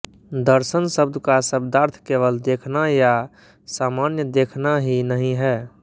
दर्शन शब्द का शब्दार्थ केवल देखना या सामान्य देखना ही नहीं है